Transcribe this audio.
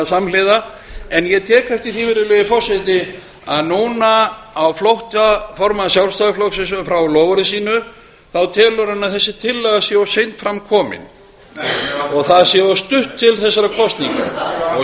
samhliða en ég tek eftir því að núna á flótta formanns sjálfstæðisflokksins frá loforði sínu þá telur hann að þessi tillaga sé of seint fram komin og það sé of stutt til þessara kosninga